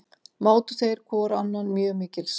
Mátu þeir hvor annan mjög mikils.